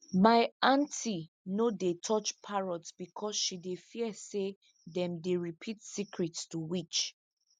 my aunty no dey touch parrots because she dey fear say them dey repeat secrets to witch